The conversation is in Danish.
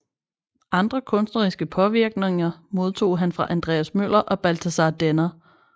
Andre kunstneriske påvirkninger modtog han fra Andreas Møller og Balthasar Denner